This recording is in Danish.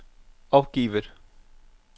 opgivet